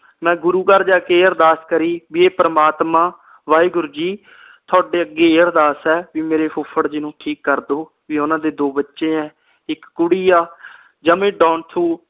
ਮੈਂ ਗੁਰੂ ਘਰ ਜਾ ਕੇ ਇਹ ਅਰਦਾਸ ਕਰੀ ਬੀ ਏ ਪ੍ਰਮਾਤਮਾ ਵਾਹਿਗੁਰੂ ਜੀ ਤੁਹਾਡੇ ਅੱਗੇ ਇਹ ਅਰਦਾਸ ਆ ਮੇਰੇ ਫੁਫੜ ਜੀ ਨੂੰ ਠੀਕ ਕਰਦੋ ਪੀ ਓਹਨਾ ਦੇ ਦੋ ਬੱਚੇ ਆ ਇਕ ਕੁੜੀ ਆ ਜਮਾ ਈ